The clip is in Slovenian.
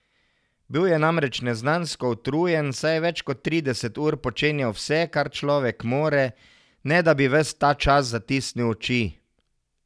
Bil je namreč neznansko utrujen, saj je več kot trideset ur počenjal vse, kar človek more, ne da bi ves ta čas zatisnil oči.